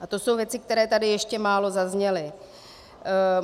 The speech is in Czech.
A to jsou věci, které tady ještě málo zazněly.